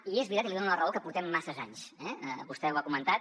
i és veritat i li’n dono la raó que portem masses anys eh vostè ho ha comentat